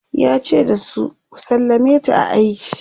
yace da su"ku sallameta a aiki!"